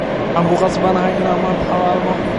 Waxan kukasbanhy inan hawalno manta.